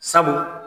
Sabu